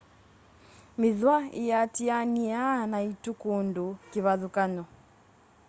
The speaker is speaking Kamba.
mithwa íatianíaa na itua kundu kivathukany'o